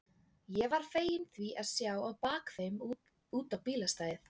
Ég var feginn því að sjá á bak þeim út á bílastæðið.